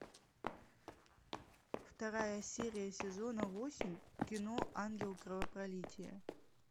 вторая серия сезона восемь кино ангел кровопролития